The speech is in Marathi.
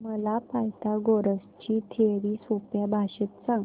मला पायथागोरस ची थिअरी सोप्या भाषेत सांग